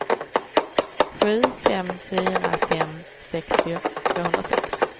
sju fem fyra fem sextio tvåhundrasex